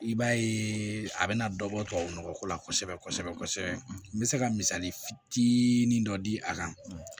I b'a ye a bɛna dɔ bɔ tubabu nɔgɔ ko la kosɛbɛ kosɛbɛ n bɛ se ka misali fitinin dɔ di a kan